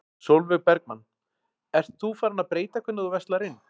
Sólveig Bergmann: Ert þú farin að breyta hvernig þú verslar inn?